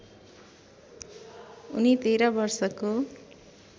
उनी १३ वर्षको